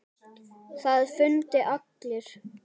Það fundu allir.